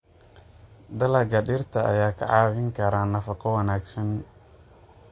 Dalagga digirta ayaa kaa caawin kara nafaqo wanaagsan.